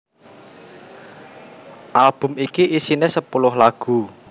Album iki isiné sepuluh lagu